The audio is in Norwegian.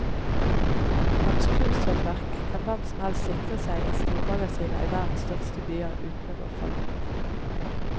Hans kunsthåndverk kan hvem som helst sikre seg i stormagasiner i verdens største byer uten å gå fallitt.